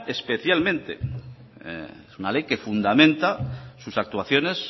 especialmente es una ley que fundamenta sus actuaciones